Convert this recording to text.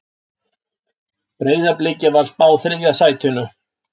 Breiðabliki var spáð þriðja sætinu